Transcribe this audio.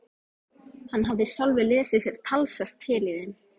Hann hafði sjálfur lesið sér talsvert til í þeim.